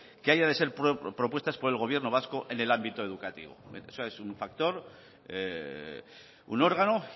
que haya de ser propuesta por el gobierno vasco en el ámbito educativo es un factor un órgano